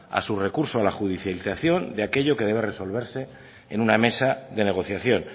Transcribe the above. a su recurso a la judicialización de aquello que debe resolverse en una mesa de negociación